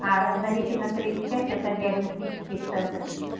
на репина тридцать пять это диагностический центр